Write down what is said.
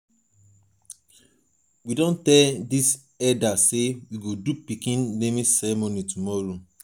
we don tell di eldas sey we go do my pikin naming ceremony tomorrow.